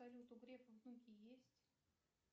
салют у грефа внуки есть